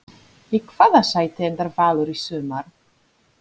Í hvaða sæti endar Valur í sumar?